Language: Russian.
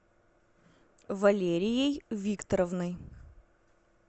валерией викторовной